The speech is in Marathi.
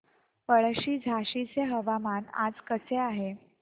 पळशी झाशीचे हवामान आज कसे आहे